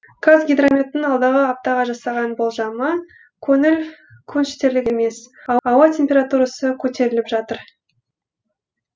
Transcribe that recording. қазгидрометтің алдағы аптаға жасаған болжамы көңіл көншітерлік емес ауа температурасы көтеріліп жатыр